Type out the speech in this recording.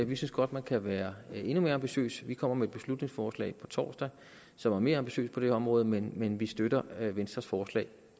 vi synes godt man kan være endnu mere ambitiøs vi kommer med et beslutningsforslag på torsdag som er mere ambitiøst på det her område men vi støtter venstres forslag